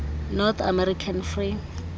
north american free